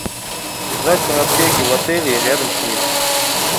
узнать про аптеки в отеле и рядом с ним